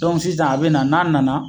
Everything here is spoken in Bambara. sisan a be na, n'a nana